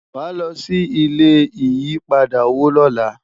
wá ló ṣì ilé ìyí padà owó lọla